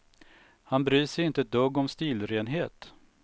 Han bryr sig inte ett dugg om stilrenhet.